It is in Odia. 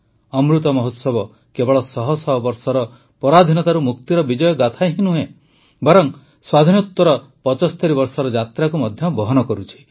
ଅମୃତ ମହୋତ୍ସବ କେବଳ ଶହ ଶହ ବର୍ଷର ପରାଧୀନତାରୁ ମୁକ୍ତିର ବିଜୟଗାଥା ନୁହେଁ ବରଂ ସ୍ୱାଧୀନୋତ୍ତର ଭାରତର ୭୫ ବର୍ଷର ଯାତ୍ରାକୁ ମଧ୍ୟ ବହନ କରୁଛି